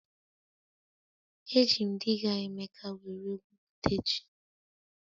Eji m diga Emeka were gwu pute ji